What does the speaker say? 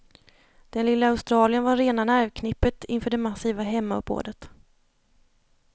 Den lille australiern var rena nervknippet inför det massiva hemmauppbådet.